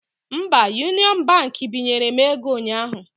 Mba, Union Baankị binyere m ego ụnyaahụ